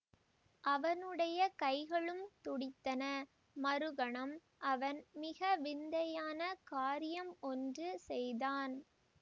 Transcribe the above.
அவனுடைய கைகளும் துடித்தன மறுகணம் அவன் மிக விந்தையான காரியம் ஒன்று செய்தான்